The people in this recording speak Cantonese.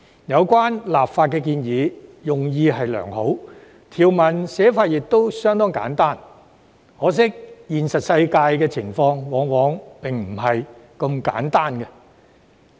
有關的立法建議用意良好，條文寫法亦相當簡單，可惜現實世界的情況往往並非如此簡單。